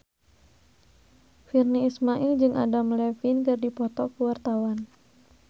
Virnie Ismail jeung Adam Levine keur dipoto ku wartawan